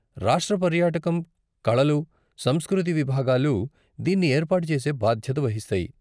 రాష్ట్ర పర్యాటకం, కళలు, సంస్కృతి విభాగాలు దీన్ని ఏర్పాటు చేసే బాధ్యత వహిస్తాయి.